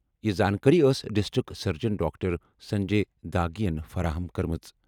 یہِ زانٛکٲری ٲس district surgeon doctor Sanjay Dhage یَن فراہم کٔرمٕژ۔